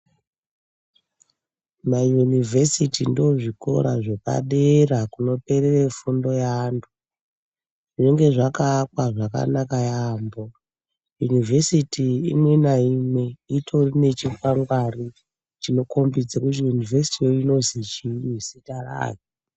Mayunivhesiti ndozvikora zvepadera kunoperera fundo yavantu zvinenge zvakaakwa zvakanaka yambo yunivhesiti imwe naimwe inotori nezvikwangwari chinokombidze kuti yunivhesiti iyi ino michiini zita rayo.